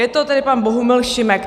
Je to tedy pan Bohumil Šimek.